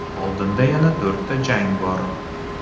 Oldinda yana to‘rtta jang bor.